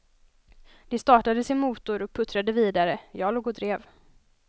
De startade sin motor och puttrade vidare, jag låg och drev.